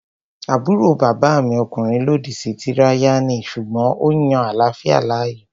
Àbúrò bàbá mi ọkùnrin lòdì sí tíráyánì sùgbọ́n ó yan àláfíà láàyò